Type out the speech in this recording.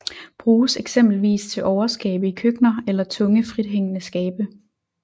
Bruges eksempelvis til overskabe i køkkener eller tunge frithængende skabe